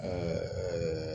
ɛɛ